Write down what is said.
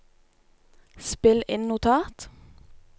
spill inn notat